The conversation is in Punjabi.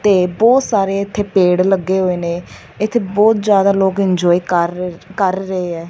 ਤੇ ਬਹੁਤ ਸਾਰੇ ਇੱਥੇ ਪੇੜ ਲੱਗੇ ਹੋਏ ਨੇ ਇੱਥੇ ਬਹੁਤ ਜਿਆਦਾ ਲੋਕ ਇੰਜੋਏ ਕਰ ਕਰ ਰਹੇ ਹੈ।